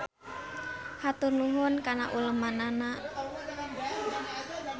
Hatur nuhun kana ulemannana.